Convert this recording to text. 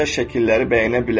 o gözəl şəkilləri bəyənə bilər.